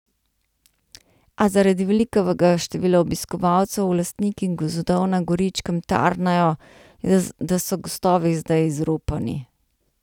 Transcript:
A zaradi velikega števila obiskovalcev lastniki gozdov na Goričkem tarnajo, da so gozdovi vse bolj izropani.